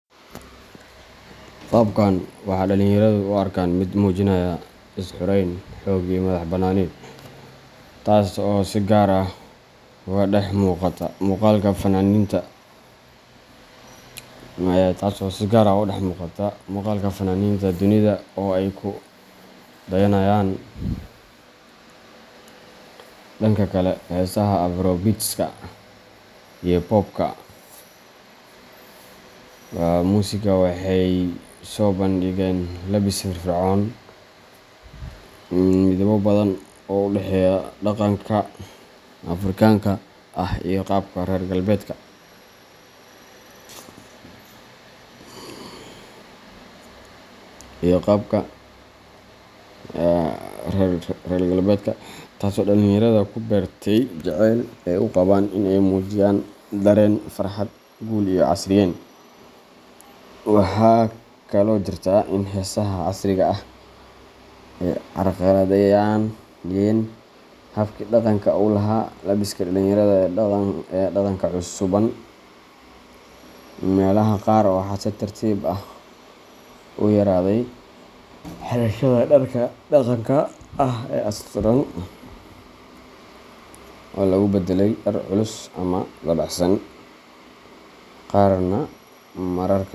Qaabkan waxaa dhalinyaradu u arkaan mid muujinaya is xurayn, xoog iyo madax bannaani, taasoo si gaar ah uga dhex muuqata muuqaalka fannaaniinta dunida oo ay ku dayanayaan. Dhanka kale, heesaha afrobeatska iyo popka music waxay soo bandhigeen labbis firfircoon, midabbo badan leh, oo u dhexeeya dhaqanka Afrikaanka ah iyo qaabka reer galbeedka, taasoo dhalinyarada ku beertay jaceyl ay u qabaan in ay muujiyaan dareen farxad, guul, iyo casriyeyn. Waxaa kaloo jirta in heesaha casriga ah ay carqaladeeyeen habkii dhaqanka u lahaa labbiska dhalinyarada ee dhaqanka suubban. Meelaha qaar, waxaa si tartiib tartiib ah u yaraaday xirashada dharka dhaqanka ah ee asturan, oo lagu beddelay dhar culus ama dabacsan, qaarna mararka.